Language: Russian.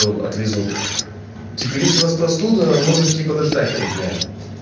отвезут типа есть у вас простуда можете подождать три дня